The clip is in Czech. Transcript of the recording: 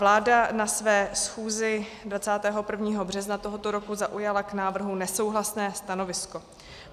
Vláda na své schůzi 21. března tohoto roku zaujala k návrhu nesouhlasné stanovisko.